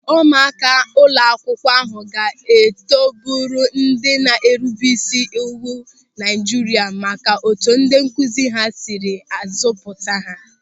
Ụmụaka ụlọakwụkwọ ahụ ga-eto bụrụ ndị na-erube isi n'iwu Naịjirịa maka otu ndị nkụzi ha sịrị azụ pụta ha.